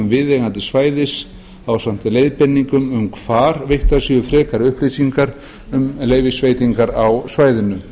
viðeigandi svæðis ásamt leiðbeiningum um hvar veittar séu frekari upplýsingar um leyfisveitingar á svæðinu